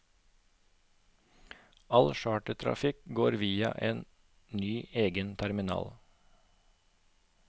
All chartertrafikk går via en ny egen terminal.